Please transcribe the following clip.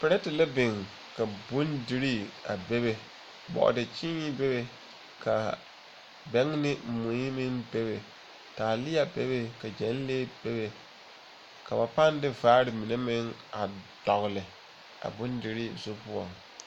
Perɛte la biŋ ka bondirii a bebe. Bɔɔdekyeene bebe, kaa bɛŋ ne mui meŋ bebe. Taalea bebe, ka gyɛnlee bebe. ka wo pãã de vaare mine a dɔgle a bonderee zu poɔŋ.